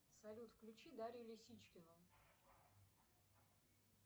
салют включи дарью лисичкину